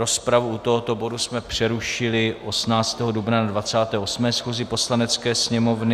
Rozpravu u tohoto bodu jsme přerušili 18. dubna na 28. schůzi Poslanecké sněmovny.